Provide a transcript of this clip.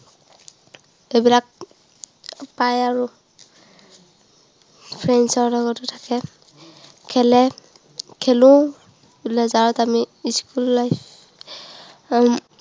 এইবিলাক পায় আৰু friends ৰ লগতে থাকে খেলে খেলো leasure ত আমি school life উম